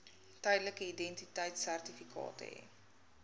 tydelike identiteitsertifikaat hê